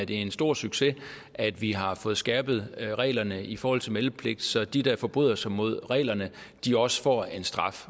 det er en stor succes at vi har fået skærpet reglerne i forhold til meldepligt så de der forbryder sig mod reglerne også får en straf